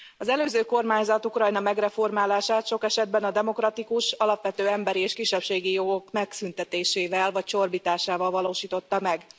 Az előző kormányzat Ukrajna megreformálását sok esetben az alapvető demokratikus emberi és kisebbségi jogok megszüntetésével vagy csorbításával valósította meg.